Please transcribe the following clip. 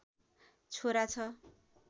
छोरा छ